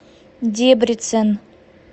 дебрецен